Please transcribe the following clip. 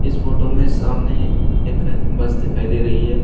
इस फोटो में सामने एक बस दिखाई दे रही है।